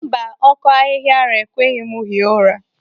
Mba, ọkọ ahihiara ekweghị m hie ụra.